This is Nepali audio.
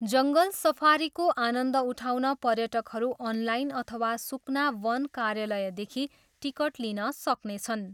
जङ्गल सफारीको आनन्द उठाउन पर्यटकहरू अनलाइन अथवा सुकना वन कार्यालयदेखि टिकट लिन सक्नेछन्।